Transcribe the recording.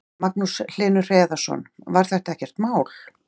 Magnús Hlynur Hreiðarsson: Var þetta ekkert mál?